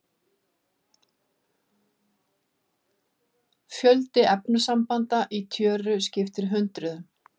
Fjöldi efnasambanda í tjöru skiptir hundruðum.